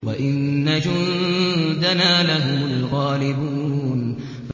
وَإِنَّ جُندَنَا لَهُمُ الْغَالِبُونَ